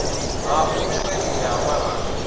ha u feila ha maraga